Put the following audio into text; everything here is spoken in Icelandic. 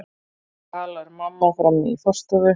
galar mamma frammi í forstofu.